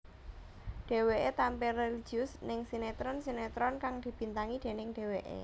Dheweké tampil religius ning sinetron sinetron kang dibintangi déning dheweké